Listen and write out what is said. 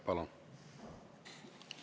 Palun!